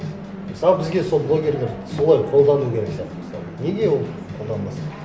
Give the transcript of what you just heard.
мысалы бізге сол блогерлерді солай қолдану керек сияқты мысалы неге оны қолданбасқа